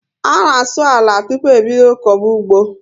A na asụ àlà tupu e bídó koba ụgbọ